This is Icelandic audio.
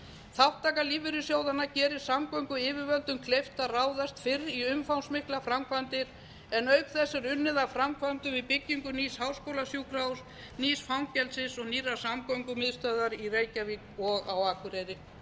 þátttaka lífeyrissjóðanna gerir samgönguyfirvöldum kleift að ráðast fyrr í umfangsmiklar framkvæmdir en auk þess er unnið að framkvæmdum við byggingu nýs háskólasjúkrahúss nýs fangelsis og nýrra samgöngumiðstöðva í reykjavík og á akureyri